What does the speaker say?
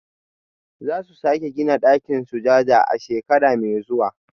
Za su sake gina ɗakin sujada a shekara mai zuwa